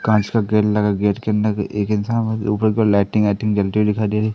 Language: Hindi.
कांच का गेट लगा गेट के अंदर एक इंसान ऊपर के लाइटिंग वाइटिंग जलती हुई दिखाई दे रही--